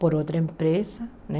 Por outra empresa, né?